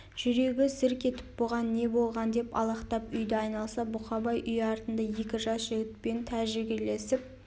жүрегі зірк етіп бұған не болған деп алақтап үйді айналса бұқабай үй артында екі жас жігітпен тәжікелесіп